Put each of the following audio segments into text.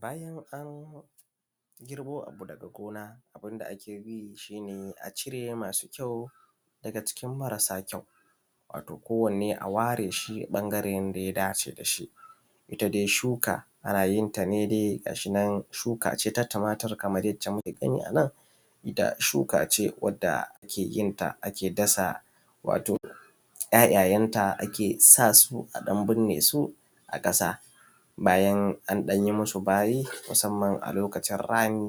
Bayan an girbo abu daga gona, abunda akeyi shine a cire masu kyau daga cikin marasa kyau wato ko wanne a ware ɓangaren da yadace dashi. Itta dai shuka anayin ta nedai gashinan yadda muke gani shuka ce dai ta tumatur kamar yacce muke gani anan. Itta shukace wadda akeyin ta ake dasa ‘ya’ ‘ya’ yenta ake sasu aɗan binne su a dasa. Bayan anyi musu bayi musamman a lokacin rani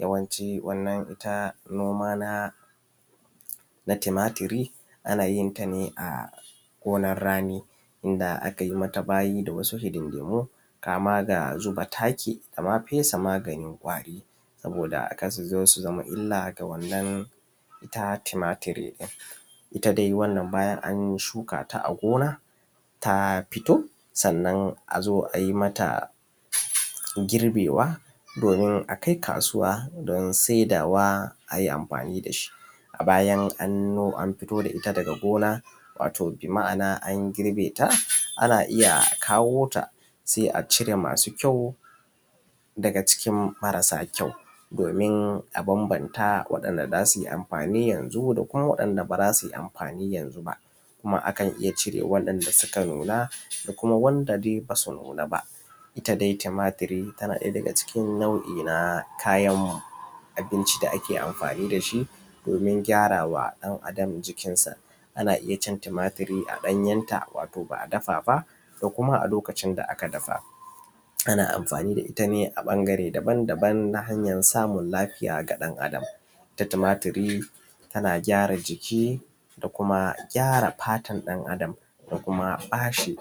yawanci wanna itta noma na tumaturi anayin tane a gonar rani inda akanyi mata bayi da wasu hidindimu kama da zuba taki dama fesa maganin kwari, saboda karsuzo su zama illa ga itta wannan tumaturi. Itta dai wannan bayan an shukata a gona ta fito sannan azo ai mata girbewa domin akai kasuwa don sai dawa ayi amfani dashi. Bayan anfito da itta daga gona watan bima’ana a girbe ta anna iyya kawota sai acire masu kyau daga cikin marasa kyau domin abanbanta waɗanda zasui amfani yanzu da waɗanda bazasui amfani ayanzu ba. kuma akan iyya cire wanda suka nuna da wanda basu nuna ba. itta tumaturi tana ɗaya daga cikin nau’i na kayan abinci da ake amfani dashi domin gyarawa ɗan Adam jikin sa, anna iyyacin tumaturi a ɗanyensa wato ba’a dafa ba da kuma a lokacin da aka dafa, ana amfani da itta ne a ɓangare daban daban na hanyan samun lafiya ga ɗab Adama. Tumaturi tana gyara jiki da kuma gyara fatan ɗan Adam da kuma bashi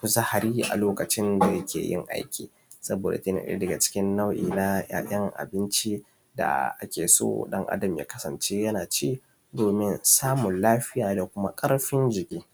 kuzari a lokacin da yakeyin aiki. Saboda yana ɗaya daga ciki nau’i na kayan abinci da akeso ɗan Adam ya kasance yanaci domin samun lafiya da ƙarfin jiki.